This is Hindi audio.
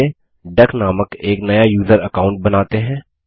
चलिए डक नामक एक नया यूज़र अकाउंट बनाते हैं